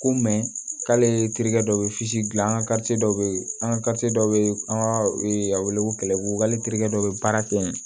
Ko k'ale terikɛ dɔ bɛ gilan an ka dɔ bɛ yen an ka dɔ bɛ an ka a wele ko kɛlɛko terikɛ dɔ bɛ baara kɛ yen